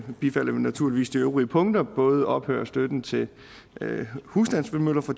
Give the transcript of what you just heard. vi naturligvis de øvrige punkter både ophør af støtten til husstandsvindmøller fra